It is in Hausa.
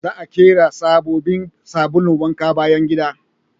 Za a ƙera sabobbin sabulun wanke bayan gida